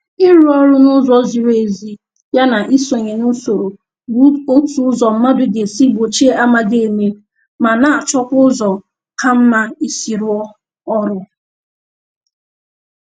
Ịrụ ọrụ n'ụzọ ziri ezi ya na isonye n'usoro bụ otu ụzọ mmadụ ga-esi gbochie amaghị eme, ma na-achọkwa ụzọ ka mma isi rụọ ọrụ